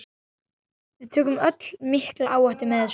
Við tökum öll mikla áhættu með þessu.